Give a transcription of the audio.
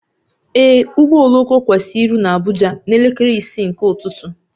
Ee, ụgbọ oloko kwesịrị iru na Abuja na elekere isii nke ụtụtụ